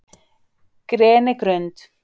Grenigrund